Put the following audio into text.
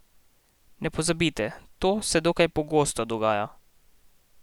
Ne pozabite, to se dokaj pogosto dogaja.